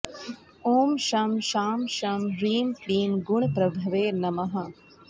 ॐ शं शां षं ह्रीं क्लीं गुणप्रभवे नमः